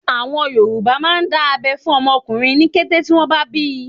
Àwọn Yorùbá máà ń dá abẹ́ fún ọmọ ọkùnrin ní kété tí wọ́n bá bíi.